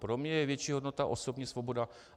Pro mne je větší hodnota osobní svoboda.